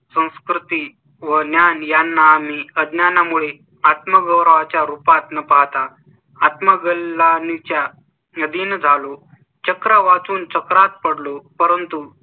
संस्कृती व ज्ञान यांना आम्ही अज्ञाना मुळे आत्म गौरवा च्या रूपात न पाहता. आत्मग्लानी च्या अधीन झालो. चक्र वाचून सत्रात पडलो. परंतु